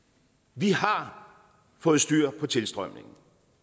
vi har fået styr på tilstrømningen